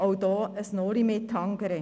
– auch hier ein «Noli me tangere».